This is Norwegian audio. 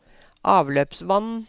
avløpsvann